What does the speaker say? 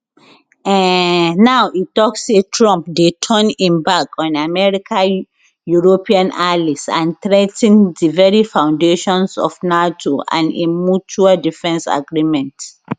um now e tok say trump dey turn im back on america european allies and threa ten di very foundations of nato and im mutual defence agreement